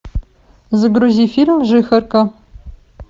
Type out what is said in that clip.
загрузи фильм жихарка